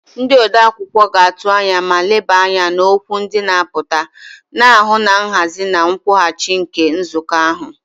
Ndị odeakwụkwọ ga-atụ anya ma leba anya n'okwu ndị na-apụta, na-ahụ na nhazi na nkwụghachi nke nzukọ ahụ.